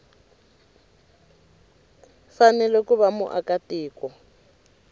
fanele ku va muaka tiko